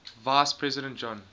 vice president john